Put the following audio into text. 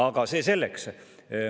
Aga see selleks.